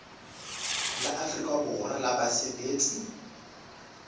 la afrika borwa la basebetsi